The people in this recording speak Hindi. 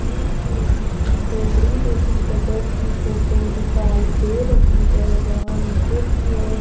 ये एक किसी झोपड़ी जैसी जगह की फोटो दिखाई दे रही है यहां नीचे की ओर --